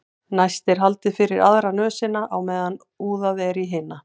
næst er haldið fyrir aðra nösina á meðan úðað er í hina